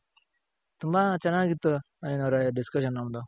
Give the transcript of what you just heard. ತುಂಬಾನೆ ಚೆನಾಗಿತ್ತು ನವೀನ್ ಅವ್ರೆ discussion ನಮ್ದು.